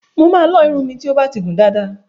Máa lọ irun mi ti o ba ti gùn dáàda.